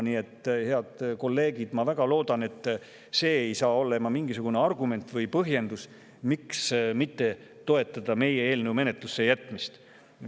Nii et, head kolleegid, ma väga loodan, et see ei saa olema mingisugune argument või põhjendus, miks mitte toetada meie eelnõu menetlusse jätmist.